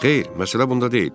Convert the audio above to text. Xeyr, məsələ bunda deyil.